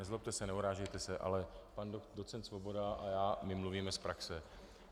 Nezlobte se, neurážejte se, ale pan docent Svoboda a já, my mluvíme z praxe.